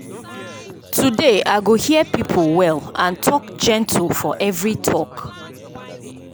today i go hear people well and talk gentle for every talk.